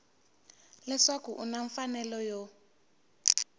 leswaku u na mfanelo yo